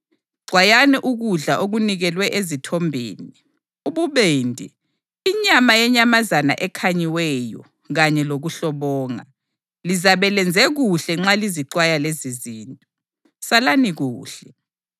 Xwayani ukudla okunikelwe ezithombeni, ububende, inyama yenyamazana ekhanyiweyo kanye lokuhlobonga. Lizabe lenze kuhle nxa lizixwaya lezizinto. Salani kuhle.